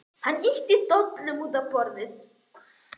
Hann ýtti dollunum út á borðið.